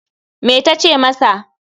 Me ta ce masa?